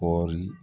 Kɔɔri